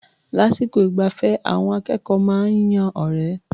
Lásìkò ìgbafẹ́, àwọn akẹ́kọ̀ó máa ń yan ọ̀rẹ́.